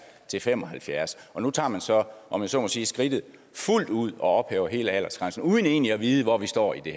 år til fem og halvfjerds år nu tager man så om jeg så må sige skridtet fuldt ud og ophæver aldersgrænsen og uden egentlig at vide hvor vi står i